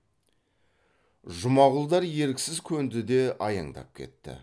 жұмағұлдар еріксіз көнді де аяңдап кетті